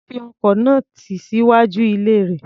Ó fi ọkọ̀ náà tì síwájú ilé rẹ̀.